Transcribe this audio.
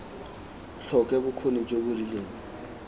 tlhoke bokgoni jo bo rileng